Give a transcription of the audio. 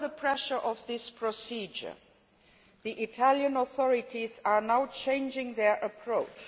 Under the pressure of this procedure, the Italian authorities are now changing their approach.